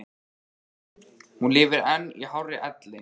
Hún lifir enn í hárri elli.